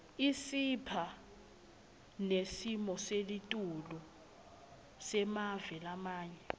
isipha nesimoselitulu semave lamanye